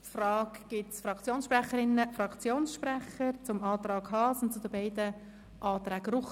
Gibt es Fraktionssprecherinnen und Fraktionssprecher, die sich zum Antrag Haas und zu den beiden Anträgen Ruchti äussern möchten?